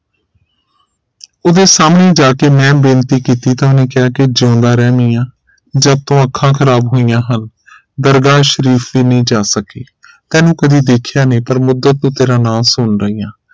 ਉਹਦੇ ਸਾਹਮਣੇ ਜਾਕੇ ਮੈਂ ਬੇਨਤੀ ਕੀਤੀ ਤਾਂ ਉਹਨੇ ਕਿਹਾ ਜਿਉਂਦਾ ਰਹਿ ਮੀਆਂ ਜਦ ਤੋਂ ਅੱਖਾਂ ਖ਼ਰਾਬ ਹੋਇਆਂ ਹਨਦਰਗਾਹ ਸ਼ਰੀਫ ਵੀ ਨਹੀਂ ਜਾ ਸਕੀ ਤੈਨੂੰ ਕਦੇ ਦੇਖਿਆ ਨਹੀਂ ਪਰ ਮੁੱਦਤ ਤੋਂ ਤੇਰਾ ਨਾਮ ਸੁਨ ਰਹੀ ਹਾਂ